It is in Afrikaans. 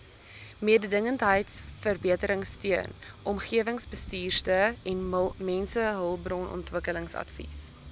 mededingendheidsverbeteringsteun omgewingsbestuursteun mensehulpbronontwikkelingsadvies